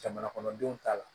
Jamana kɔnɔdenw ta la